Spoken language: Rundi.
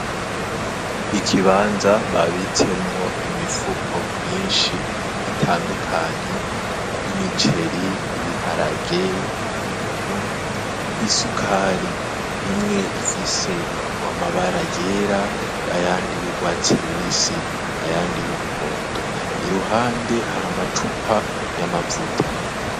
Ikibanza babitsemwo imifuko myishi itandukanye y'imiceri, ibiharage, umunyu, isukari. Imwe ifise amabara yera, ayandi y'urwatsi rubisi, ayandi y'umuhondo, iruhande hari amacupa y'amavuta.